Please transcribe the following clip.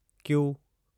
Q